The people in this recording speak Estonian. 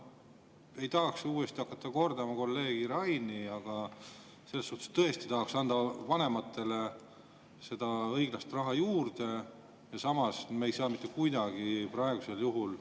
Ei tahaks uuesti hakata kordama kolleeg Raini, aga tõesti tahaks anda lapsevanematele õiglaselt raha juurde, ja samas me ei saa mitte kuidagi praegusel juhul …